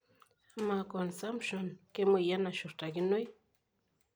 Amaa consumption kemoyian nashurtakinoi?